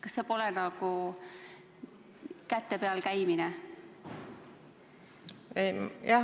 Kas see pole nagu käte peal käimine?